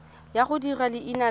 ya go dirisa leina la